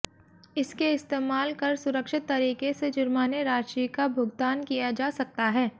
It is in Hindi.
इसके इस्तेमाल कर सुरक्षित तरीके से जुर्माने राशि का भुगतान किया जा सकता है